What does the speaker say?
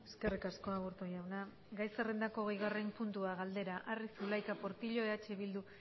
eskerrik asko aburto jauna gai zerrendako hogeigarren puntua galdera arri zulaika portillo eh bildu